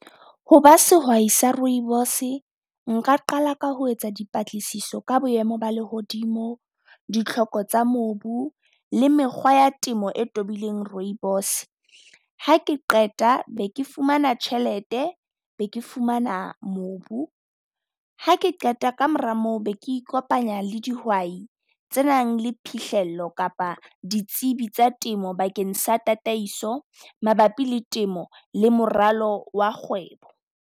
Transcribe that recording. Ho ba sehwai sa rooibos-e nka qala ka ho etsa dipatlisiso ka boemo ba lehodimo, ditlhoko tsa mobu le mekgwa ya temo e tobileng rooibos. Ha ke qeta beke fumana tjhelete be ke fumana mobu. Ha ke qeta ka mora moo be ke ikopanya le dihwai tse nang le phihlello kapa ditsibi tsa temo bakeng sa tataiso mabapi le temo le moralo wa kgwebo.